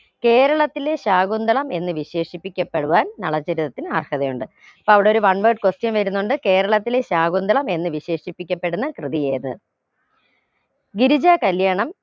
കേരളത്തിലെ ശാകുന്തളം എന്ന് വിശേഷിപ്പിക്കപ്പെടുവാൻ നളചരിതത്തിന് അർഹതയുണ്ട് അവിടൊരു one word question വരുന്നുണ്ട് കേരളത്തിലെ ശാകുന്തളം എന്ന് വിശേഷിപ്പിക്കപ്പെടുന്ന കൃതിയേത് ഗിരിജാ കല്യാണം